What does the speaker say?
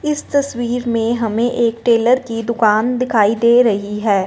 इस तस्वीर में हमें एक टेलर की दुकान दिखाई दे रही है।